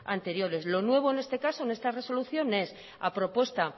anteriores lo nuevo en este caso en esta resolución es a propuesta